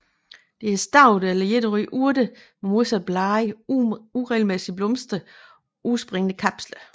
Det er stauder eller enårige urter med modsatte blade uregelmæssigeblomster og opspringende kapsler